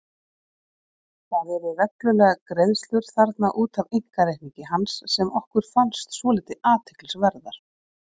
Það eru reglulegar greiðslur þarna út af einkareikningi hans sem okkur fannst svolítið athyglisverðar.